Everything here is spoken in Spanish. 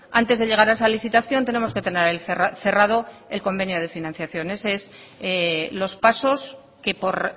antes de llegar a esa licitación tenemos que tener cerrado el convenio de financiación esos son los pasos que por